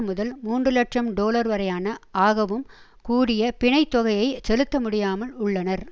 முதல் மூன்று இலட்சம் டொலர் வரையான ஆகவும் கூடிய பிணை தொகையை செலுத்த முடியாமல் உள்ளனர்